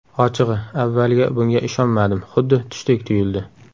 Ochig‘i, avvaliga bunga ishonmadim, xuddi tushdek tuyuldi.